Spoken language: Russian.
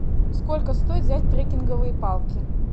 сколько стоит взять трекинговые палки